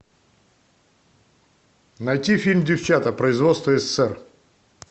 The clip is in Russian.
найти фильм девчата производство ссср